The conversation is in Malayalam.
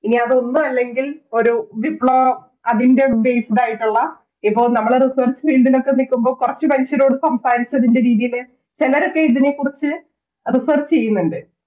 ഇനി അതെന്താണെങ്കിൽ ഒരു വിപ്ലവം അതിൻറെ Based ആയിട്ടുള്ള ഇപ്പൊ നമ്മള് Research ൽ ഇന്നതൊക്കെ കിട്ടുമ്പോൾ കുറച്ച് മനുഷ്യരോട് സംസാരിച്ചതിൻറെ രീതിയില് ചെലരൊക്കെ ഇതിനെക്കുറിച്ച് Research ചെയ്യുന്നുണ്ട്